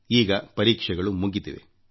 ಈಗ ಪರೀಕ್ಷೆಗಳು ಮುಗಿದಿವೆ